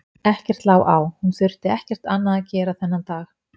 Ekkert lá á, hún þurfti ekkert annað að gera þennan dag.